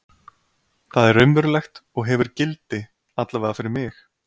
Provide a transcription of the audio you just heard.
Það er raunverulegt og hefur gildi, allavega fyrir mig.